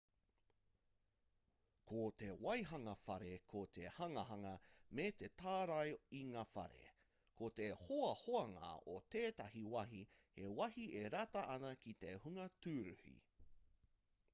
ko te waihanga whare ko te hanganga me te tārai i ngā whare ko te hoahoanga o tētahi wāhi he wāhi e rata ana ki te hunga tūruhi